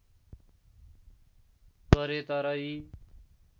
गरे तर यी